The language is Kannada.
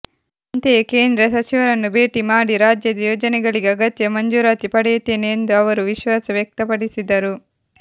ಅಂತೆಯೇ ಕೇಂದ್ರ ಸಚಿವರನ್ನು ಭೇಟಿ ಮಾಡಿ ರಾಜ್ಯದ ಯೋಜನೆಗಳಿಗೆ ಅಗತ್ಯ ಮಂಜೂರಾತಿ ಪಡೆಯುತ್ತೇನೆ ಎಂದು ಅವರು ವಿಶ್ವಾಸ ವ್ಯಕ್ತಪಡಿಸಿದರು